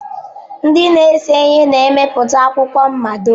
Ndị na-ese ihe na-emepụta akwụkwọ mmado.